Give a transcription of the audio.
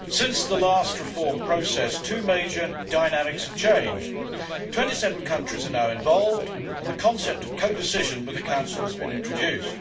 Madam President, since the last reform process, two major dynamics have changed. Twenty seven countries are now involved and the concept of co decision with the Council has been introduced.